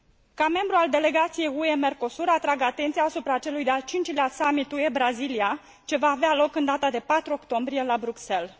Ca membru al Delegației UE Mercosur, atrag atenția asupra celui de al 5 lea summit UE Brazilia, ce va avea loc în data de 4 octombrie la Bruxelles.